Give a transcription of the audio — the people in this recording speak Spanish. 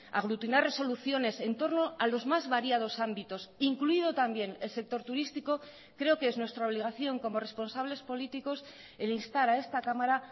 aglutinar resoluciones entorno a los más variados ámbitos incluido también el sector turístico creo que es nuestra obligación como responsables políticos el instar a esta cámara